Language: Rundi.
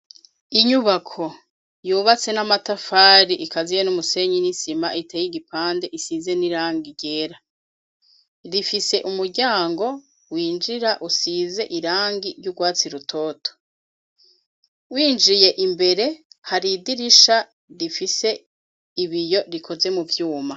Inyubako, yubatse n'amatafari, ikaziye n'umusenyi n'isima, iteye igipande, isize n'irangi ryera; rifise umuryango winjira, usize irangi ry'urwatsi rutoto; winjiye imbere, hari idirisha rifise ibiyo, rikoze mu vyuma.